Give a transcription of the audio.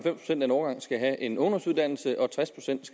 en årgang skal have en ungdomsuddannelse og at tres procent